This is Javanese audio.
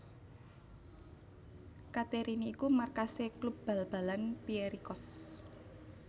Katerini iku markasé klub bal balan Pierikos